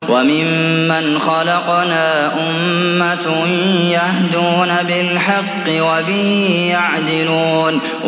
وَمِمَّنْ خَلَقْنَا أُمَّةٌ يَهْدُونَ بِالْحَقِّ وَبِهِ يَعْدِلُونَ